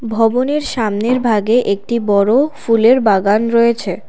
ভবনের সামনের ভাগে একটি বড় ফুলের বাগান রয়েছে।